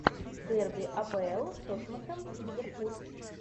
дерби апл тоттенхэм и ливерпуль